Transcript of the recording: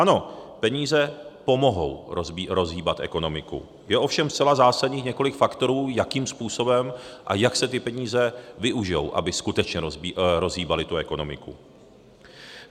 Ano, peníze pomohou rozhýbat ekonomiku, je ovšem zcela zásadních několik faktorů, jakým způsobem a jak se ty peníze využijí, aby skutečně rozhýbaly tu ekonomiku.